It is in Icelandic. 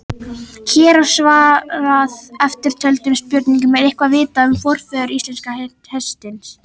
Hér er svarað eftirtöldum spurningum: Er eitthvað vitað um forfeður íslenska hestsins?